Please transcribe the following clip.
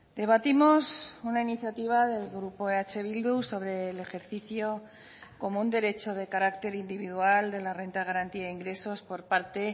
debatimos una iniciativa del grupo eh bildu sobre el ejercicio como un derecho de carácter individual de la renta de garantía de ingresos por parte